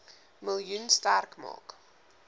miljoen sterk maak